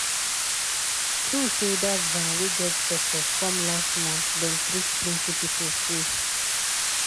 true say dat van wey get doctors come last month dem treat plenty people free.